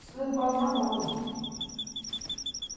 Isso tudo por causa de uma bola.